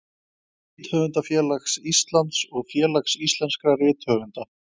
Rithöfundafélags Íslands og Félags íslenskra rithöfunda.